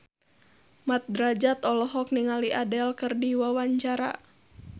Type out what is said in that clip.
Mat Drajat olohok ningali Adele keur diwawancara